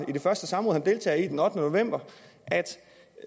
på det første samråd han deltager i den ottende november